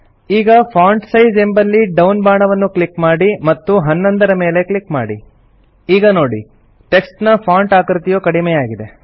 ಈಗ font size ಎಂಬಲ್ಲಿ down ಬಾಣವನ್ನು ಕ್ಲಿಕ್ ಮಾಡಿ ಮತ್ತು 11 ರ ಮೇಲೆ ಕ್ಲಿಕ್ ಮಾಡಿ ಈಗ ನೋಡಿ ಟೆಕ್ಸ್ಟ್ ನ ಫಾಂಟ್ ಆಕೃತಿಯು ಕಡಿಮೆಯಾಗಿದೆ